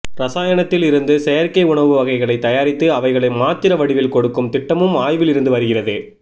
இரசாயனத்தில் இருந்து செயற்கை உணவு வகைகளை தயாரித்து அவைகளை மாத்திரை வடிவில் கொடுக்கும் திட்டமும் ஆய்வில் இருந்து வருகிறது